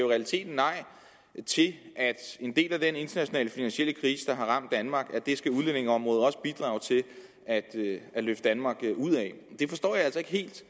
realiteten nej til at en del af den internationale finansielle krise der har ramt danmark skal udlændingeområdet også bidrage til at løfte danmark ud af det forstår jeg altså ikke helt